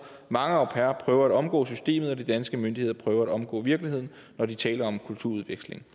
mange au pairer prøver at omgå systemet og de danske myndigheder prøver at omgå virkeligheden når de taler om kulturudveksling